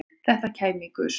Þetta kæmi í gusum